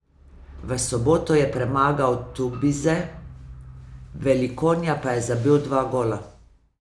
V soboto je premagal Tubize, Velikonja pa je zabil dva gola.